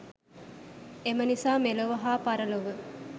එම නිසා මෙලොව හා පරලොව